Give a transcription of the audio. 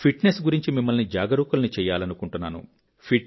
fit Nes గురించి మిమ్మల్ని జాగరూకుల్ని చేయాలనుకుంటున్నాను